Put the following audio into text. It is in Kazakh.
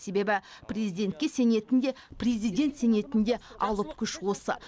себебі президентке сенетін де президент сенетін де алып күш осы